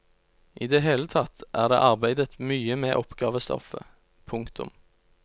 I det hele tatt er det arbeidet mye med oppgavestoffet. punktum